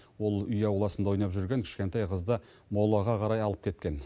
ол үй ауласында ойнап жүрген кішкентай қызды молаға қарай алып кеткен